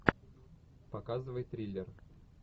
показывай триллер